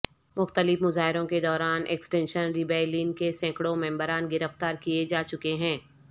مختلف مظاہروں کے دوران ایکسٹنکشن ریبیلیئن کے سینکڑوں ممبران گرفتار کیے جا چکے ہیں